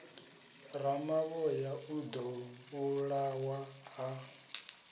ramavhoya o ḓo vhulawa ha